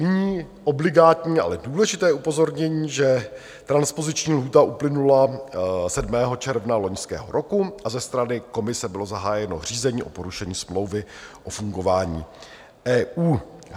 Nyní obligátní, ale důležité upozornění, že transpoziční lhůta uplynula 7. června loňského roku a ze strany komise bylo zahájeno řízení o porušení smlouvy o fungování EU.